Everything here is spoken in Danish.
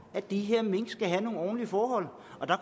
at de her mink skal have nogle ordentlige forhold